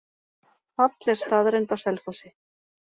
Fall er staðreynd á Selfossi.